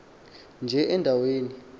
nje enda weni